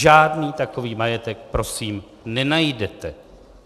Žádný takový majetek prosím nenajdete.